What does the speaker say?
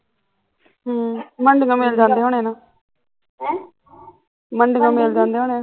ਹਮ, ਮੰਡੀ ਤੋਂ ਮਿਲ ਜਾਂਦੇ ਹੁਣੇ ਨਾ ਮੰਡਿਓ ਮਿਲ ਜਾਂਦੇ ਹੁਣੇ